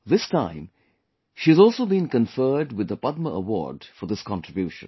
This time she has also been conferred with the Padma Award for this contribution